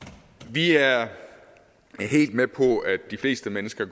vi er helt med på at de fleste mennesker